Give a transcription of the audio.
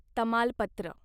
तमालपत्र